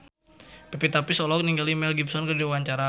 Pevita Pearce olohok ningali Mel Gibson keur diwawancara